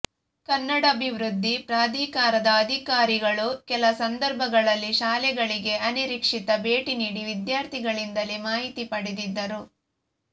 ಕನ್ನಡಾಭಿವೃದ್ಧಿ ಪ್ರಾಧಿಕಾರದ ಅಧಿಕಾರಿಗಳು ಕೆಲ ಸಂದರ್ಭಗಳಲ್ಲಿ ಶಾಲೆಗಳಿಗೆ ಅನಿರೀಕ್ಷಿತ ಭೇಟಿ ನೀಡಿ ವಿದ್ಯಾರ್ಥಿಗಳಿಂದಲೇ ಮಾಹಿತಿ ಪಡೆದಿದ್ದರು